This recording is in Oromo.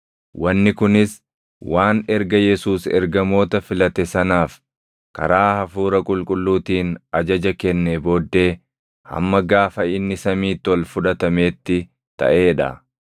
Wanni kunis waan erga Yesuus ergamoota filate sanaaf karaa hafuura qulqulluutiin ajaja kennee booddee hamma gaafa inni Samiitti ol fudhatameetti taʼee dha.